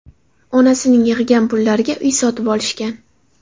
Onasining yig‘gan pullariga uy sotib olishgan.